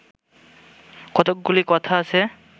কতকগুলি কথা আছে